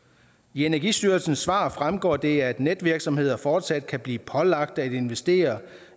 energistyrelsens svar fremgår det at netvirksomheder fortsat kan blive pålagt at investere